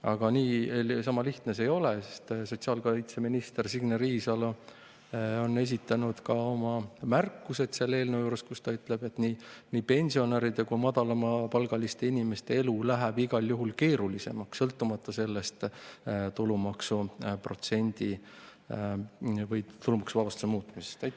Aga niisama lihtne see ei ole, sest ka sotsiaalkaitseminister Signe Riisalo on selle eelnõu kohta esitanud oma märkused, kus ta ütleb, et nii pensionäride kui ka madalamapalgaliste inimeste elu läheb igal juhul keerulisemaks, sõltumata sellest tulumaksuvabastuse muutmisest.